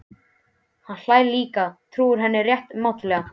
Hann hlær líka, trúir henni rétt mátulega.